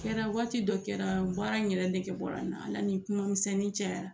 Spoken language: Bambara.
A kɛra waati dɔ kɛra baara in yɛrɛ nrge bɔra n na ala ni kuma misɛnnin cɛyara.